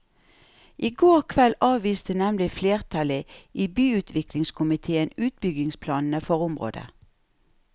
I går kveld avviste nemlig flertallet i byutviklingskomitéen utbyggingsplanene for området.